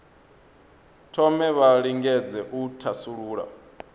thome vha lingedze u thasulula